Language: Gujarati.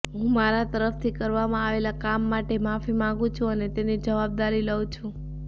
હું મારા તરફથી કરવામાં આવેલા કામ માટે માફી માગું છું અને તેની જવાબદારી લઉ છું